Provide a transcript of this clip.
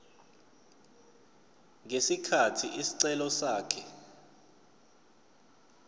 ngesikhathi isicelo sakhe